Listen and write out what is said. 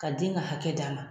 Ka den ka hakɛ d'a ma.